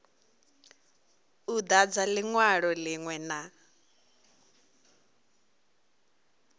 u dadza linwalo linwe na